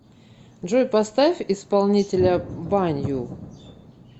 джой поставь исполнителя банью